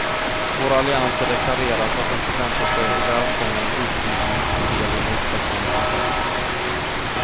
Vår allians har deklarerat att den förväntar sig och välkomnar en utvidgning som del i en utvecklande process.